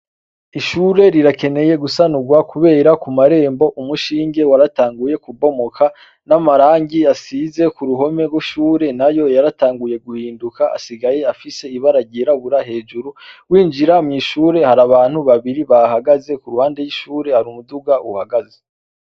Ishure rirakeneye gusanurwa kubera ku marembo umushinge waratanguye kubomoka n'amarangi asize ku ruhome rw'ishure nayo yaratanguye guhinduka asigaye afise ibara ryirabura hejuru winjira mw'ishure har’abantu babiri bahahagaze ku ruhande y'ishure hari umuduga uhagaze.